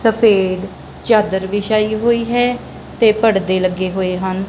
ਸਫੇਦ ਚਾਦਰ ਵਿਛਾਈ ਹੋਈ ਹੈ ਤੇ ਪੜਦੇ ਲੱਗੇ ਹੋਏ ਹਨ।